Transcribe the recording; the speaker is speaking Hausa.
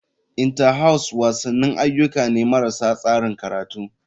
Inter house wasanni ayyuka ne marasa tsarin karatu.